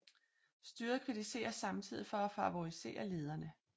Styret kritiseres samtidig for at favorisere lederne